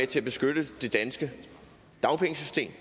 til at beskytte det danske dagpengesystem